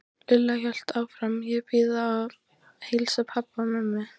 Lilla hélt áfram: Ég bið að heilsa pabba og mömmu.